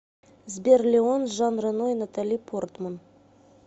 сбер леон с жан рено и натали портман